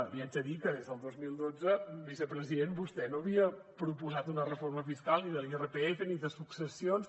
li haig de dir que des del dos mil dotze vicepresident vostè no havia proposat una reforma fiscal ni de l’irpf ni de successions